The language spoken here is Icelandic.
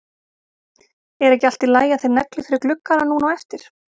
Er ekki í lagi að þeir negli fyrir gluggana núna á eftir?